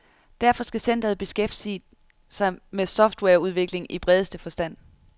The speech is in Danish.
Derfor skal centeret beskæftige sig med software-udvikling i bredeste forstand.